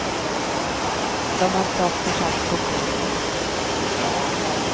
De har dock försatts på fri fot.